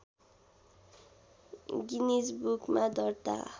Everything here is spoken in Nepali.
गिनिज बुकमा दर्ता